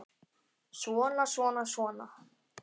Svona, svona, svona.